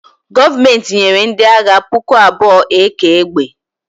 Gọọmenti nyere ndị agha puku abụọ AK egbe